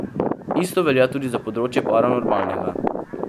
Isto velja tudi za področje paranormalnega.